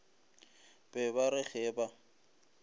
be ba re ge ba